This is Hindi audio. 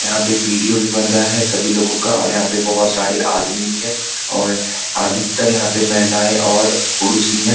यहां पर वीडियो भी बन रहा है सभी लोगों का और यहां पे बहुत सारे आदमी भी है और अधिकतर यहां पे महिलाएं और पुरुष ही हैं।